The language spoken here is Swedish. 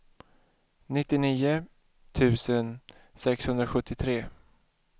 nittionio tusen sexhundrasjuttiotre